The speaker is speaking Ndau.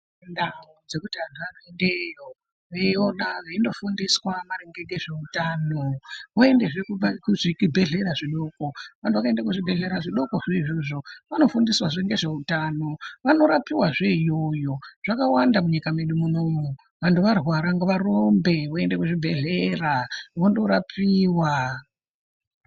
Kune ndau dzekuti antu ayendeyo eyino ona veindo fundiswa maringe ngezve utano voende zve ku zvibhedhlera zvidoko vantu vakaenda ku zvibhedhlera zvidoko zvo izvozvo vano fundiswa zve ngezve utano vano rapiwa zve iyoyo zvakawanda mu nyika medu munomu vantu varwara ngava rumbe vaende ku zvibhedhlera vondo rapiwa.